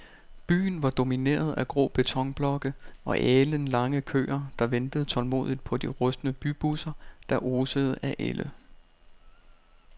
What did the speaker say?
Byen var domineret af grå betonblokke og alenlange køer, der ventede tålmodigt på de rustne bybusser, der osede af ælde.